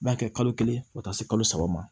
B'a kɛ kalo kelen fo ka taa se kalo saba ma